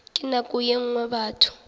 ka nako ye nngwe batho